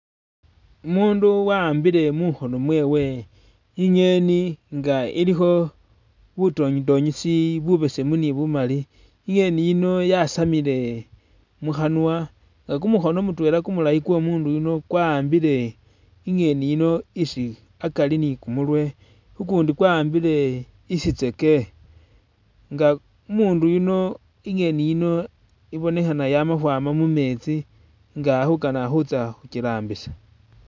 Umundu wa'ambile mukhoono mwewe i'ngeni nga ilikho butonyitonyisi bubesemu ni bumali i'ngeni yino yasamile mukhanwa ne kumukhoono mutwela kumulaayi kwomundu yuno kwa'ambile i'ngeni yino isi akari ni kumurwe, ukundi kwa'ambile isitseeke nga umundu yuno i'ngeni yino i'bonekhana yamakhwama mumetsi nga ali khukana khutsa khukirambisa